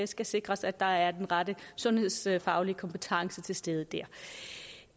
skal sikres at der er den rette sundhedsfaglige kompetence til stede